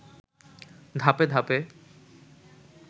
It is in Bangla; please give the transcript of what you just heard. ধাপে ধাপে